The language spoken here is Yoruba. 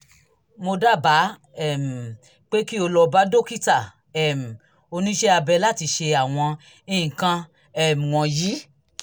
mo dábàá um pé kí o lọ bá dókítà um oníṣẹ́-abẹ láti ṣe àwọn nǹkan um wọ̀nyí